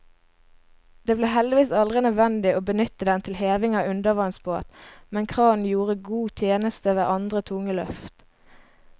Det ble heldigvis aldri nødvendig å benytte den til heving av undervannsbåt, men kranen gjorde god tjeneste ved andre tunge løft.